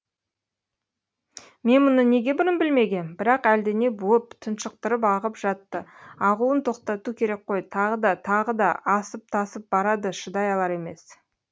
мен мұны неге бұрын білмегем бірақ әлдене буып тұншықтырып ағып жатты ағуын тоқтату керек қой тағы да тағы да асып тасып барады шыдай алар емес